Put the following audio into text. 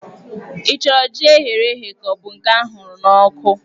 Ị chọrọ jí eghere eghe ka ọ bụ nke a hụrụ n'ọkụ?